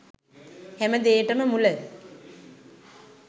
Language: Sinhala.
හැම දේටම මුල